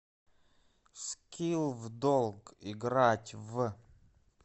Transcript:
скилл вдолг играть в